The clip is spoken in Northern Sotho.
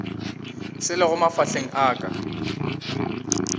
se lego mafahleng a ka